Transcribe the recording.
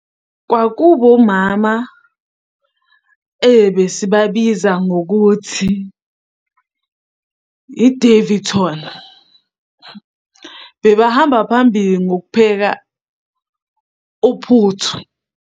Kwakuba umama, besibabiza ngokuthi i-Daveyton. Bebehamba phambili ngokupheka uphuthu.